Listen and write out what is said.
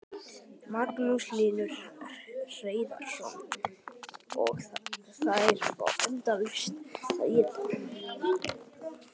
Magnús Hlynur Hreiðarsson: Og þær fá endalaust að éta?